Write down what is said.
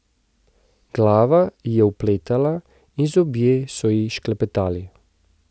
Glava ji je opletala in zobje so ji šklepetali.